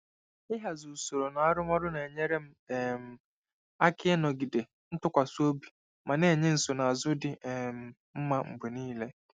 Ịhazi usoro na arụmọrụ na-enyere m um aka ịnọgide ntụkwasị obi ma na-enye nsonaazụ dị um mma mgbe niile.